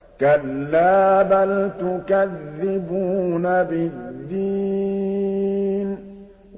كَلَّا بَلْ تُكَذِّبُونَ بِالدِّينِ